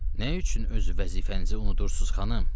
Nə üçün öz vəzifənizi unudursunuz, xanım?